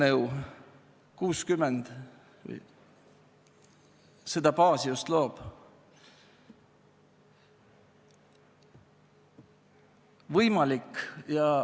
Eelnõu 60 seda baasi just loob.